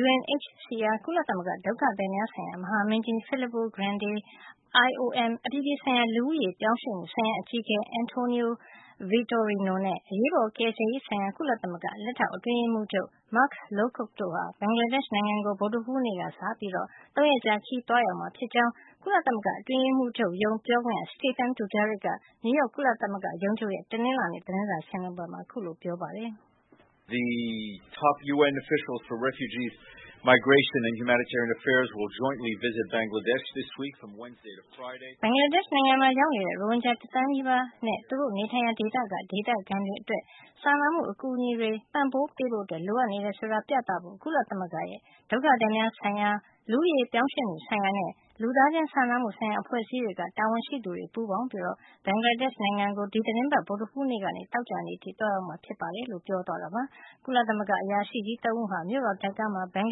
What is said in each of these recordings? UNHCR ကုလသမဂ္ဂ ဒုက္ခသည်များဆိုင်ရာ မဟာမင်းကြီး Filippo Grandi ၊ IOM အပြည်ပြည်ဆိုင်ရာ လူဦးရေပြောင်းရွှေ့မှုဆိုင်ရာ အကြီးအကဲ António Vitorino နဲ့ အရေးပေါ်ကယ်ဆယ်ရေးဆိုင်ရာ ကုလသမဂ္ဂ လက်ထောက်အတွင်းရေးမှူးချုပ် Mark Lowcock တို့ဟာ ဘင်္ဂလားဒေ့ရှ် နိုင်ငံကို ဗုဒ္ဓဟူးနေ့က စပြီး ၃ ရက်ကြာ ခရီး သွားရောက်မှာ ဖြစ်ကြောင်း ကုလသမဂ္ဂအတွင်းရေးမှူးချုပ်ရုံး ပြောခွင့်ရ Stephane Dujarric က နယူးရောက် ကုလသမဂ္ဂရုံးချုပ်ရဲ့ တနင်္လာနေ့ သတင်းစာရှင်းလင်းပွဲမှာ ပြောပါတယ်။ “ဘင်္ဂလားဒေ့ရှ်နိုင်ငံမှာ ရောက်နေတဲ့ ရိုဟင်ဂျာ တသန်းနီးပါးနဲ့ သူတို့နေထိုင်ရာ ဒေသက ဒေသခံတွေအတွက် စာနာမှုအကူအညီတွေ ပံ့ပိုးပေးဖို့ လိုအပ်နေတယ် ဆိုတာကို ပြသဖို့ ကုလသမဂ္ဂရဲ့ ဒုက္ခသည်များဆိုင်ရာ၊ လူဦးရေပြောင်းရွှေ့မှုဆိုင်ရာနဲ့ လူသားချင်းစာနာမှုဆိုင်ရာ အဖွဲ့အစည်းတွေက တာဝန်ရှိသူတွေ ပူးပေါင်းပြီး ဘင်္ဂလားဒေ့ရှ်နိုင်ငံကို ဒီသီတင်းပတ် ဗုဒ္ဓဟူးနေ့ကနေ သောကြာနေ့အထိ သွားရောက်မှာ ဖြစ်ပါတယ်။” လို့ ပြောသွားတာပါ။ ကုလသမဂ္ဂ အရာရှိကြီး ၃ ဦးဟာ မြို့တော် ဒါကာမှာ ဘင်္ဂ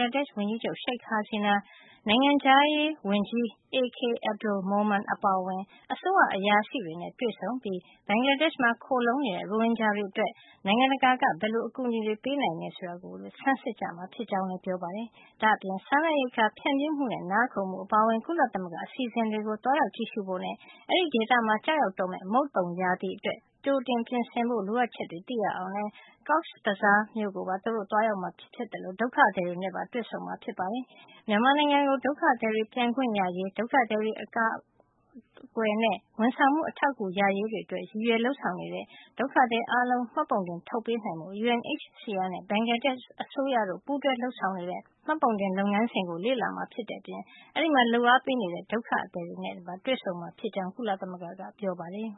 လားဒေ့ရှ် ဝန်ကြီးချုပ် Sheikh Hasina နိုင်ငံခြားရေးဝန်ကြီး A.K Abdul Momen အပါအဝင် အစိုးရ အရာရှိတွေနဲ့ တွေ့ဆုံပြီး ဘင်္ဂလားဒေ့ရှ်မှာ ခိုလှုံနေတဲ့ ရိုဟင်ဂျာတွေ အတွက် နိုင်ငံတကာက ဘယ်လို အကူအညီတွေ ပေးအပ်နိုင်မယ်ဆိုတာကို ဆန်းစစ်ကြမှာ ဖြစ်ကြောင်းလည်း ပြောပါတယ်။ ဒါ့အပြင် စားနပ်ရိက္ခာ ဖြန့်ဖြူးမှုနဲ့ နားခိုမှုအပါအဝင် ကုလသမဂ္ဂရဲ့ အစီအစဉ်တွေကို သွားရောက်ကြည့်ရှုဖို့ နဲ့ အဲဒီဒေသမှာ ကျရောက် တော့မယ့် မုတ်သုန်ရာသီအတွက် ကြိုတင်ပြင်ဆင်ဖို့ လိုအပ်ချက်တွေကို သိရအောင်လည်း Cox’s Bazar ကိုပါ သူတို့ သွားရောက်မှာ ဖြစ်သလို ဒုက္ခသည်တွေနဲ့ တွေ့ဆုံမှာ ဖြစ်ပါတယ်။ မြန်မာနိုင်ငံကို ဒုက္ခသည်တွေ ပြန်ခွင့်ရရေး၊ ဒုက္ခသည်တွေ အကာကွယ်နဲ့ ဝန်ဆောင်မှု အထောက်ကူ ရရေး တွေအတွက် ရည်ရွယ် လုပ်ဆောင်နေတဲ့ ဒုက္ခသည်အားလုံးကို မှတ်ပုံတင်ထုတ်ပေးနိုင်ဖို့ UNHCR နဲ့ ဘင်္ဂလားဒေ့ရှ် အစိုးရတို့ ပူးတွဲ လုပ်ဆောင်နေတဲ့ မှတ်ပုံတင် လုပ်ငန်းစဉ်ကို လေ့လာမှာ ဖြစ်တဲ့အပြင် အဲဒီမှာ လုပ်အားပေးနေတဲ့ ဒုက္ခသည်တွေနဲ့ပါ တွေ့ဆုံမှာ ဖြစ်ကြောင်း ကုလသမဂ္ဂက ပြောပါတယ်